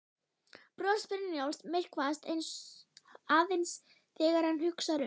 Bros Brynjólfs myrkvast aðeins þegar hann hugsar um